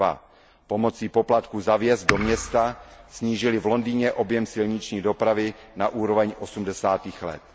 2 Pomocí poplatků za vjezd do města snížili v Londýně objem silniční dopravy na úroveň osmdesátých let.